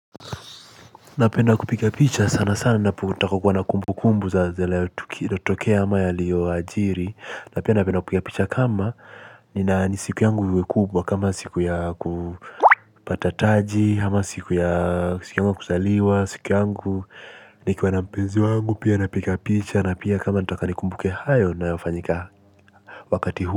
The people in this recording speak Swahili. Napenda kupiga picha sana sana ninapota kuwa na kumbu kumbu za zile tukio ama yaliyojiri. Na pia napenda kupiga picha kama ni siku yangu kubwa kama siku ya kupata taji ama siku ya siku yangu ya kuzaliwa siku yangu nikiwa na mpenzi wangu pia napiga picha na pia kama nataka nikumbuke hayo yanayofanyika wakati huu.